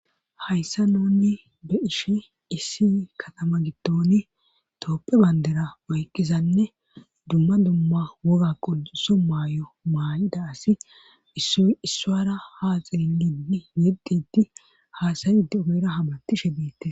Hayssa nunni be ishe issi katama gidtoni tooppe bayndera mayqqizanne dumma dumma woga qouso maay7o maay7ida asi issuara haaxiid yeddidi haasayide ogera habatishe diite..